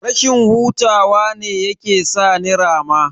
Rashin hutawa ne yake sa ni rama.